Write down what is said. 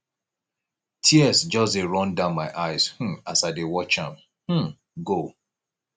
tears just dey run down my eyes um as i dey watch am um go